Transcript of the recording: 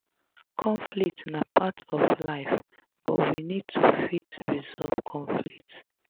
conflict na part of life but we need to fit resolve conflict